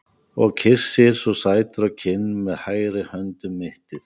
Og kyssir svo sætur á kinn með hægri hönd um mittið.